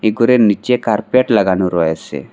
ঘরের নীচে কার্পেট লাগানো রয়েসে ।